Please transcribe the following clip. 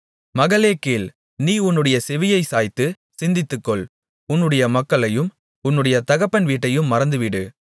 மகளே கேள் நீ உன்னுடைய செவியைச் சாய்த்து சிந்தித்துக்கொள் உன்னுடைய மக்களையும் உன்னுடைய தகப்பன் வீட்டையும் மறந்துவிடு